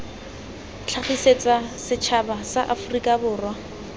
tlhagisetsa setšhaba sa aforika borwa